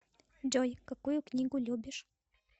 джой какую книгу любишь